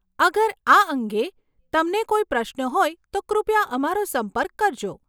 અગર આ અંગે તમને કોઈ પ્રશ્ન હોય તો કૃપયા અમારો સંપર્ક કરજો.